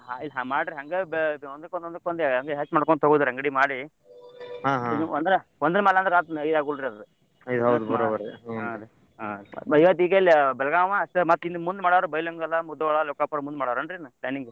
ಹ ಹ ಮಾಡ್ರ್ ಹಂಗ ಬ~ ಒಂದಕ್ ಒಂದ್ ಹಂಗ ಹೆಚ್ ಮಾಡ್ಕೊಂತ್ ಹೋಗೊದ್ರಿ ಅಂಗಡಿ ಮಾಡಿ ಅಂದ್ರ ಒಂದರ ಮ್ಯಾಲ್ ಅಂದ್ರ ಹತ್ ಇದು ಆಗೂದಿಲ್ರಿ ಅದು ಬೆಳಗಾಂವ ಅಷ್ಟ ಮತ್ ಮುಂದ್ ಮಾಡೋರ ಬೈಲಹೊಂಗಲ, ಮುಧೋಳ, ಲೋಕಾಪುರ ಮುಂದ್ ಮಾಡೋರ ಏನ್ರಿ ಇನ್ planning .